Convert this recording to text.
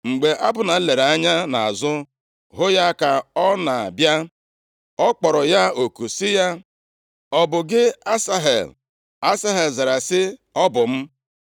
Mgbe Abna lere anya nʼazụ hụ ya ka ọ na-abịa, ọ kpọrọ ya oku sị ya, “Ọ bụ gị Asahel?” Asahel zara sị, “Ọ bụ m.”